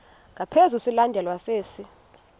ngaphezu silandelwa sisi